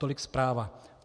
Tolik zpráva.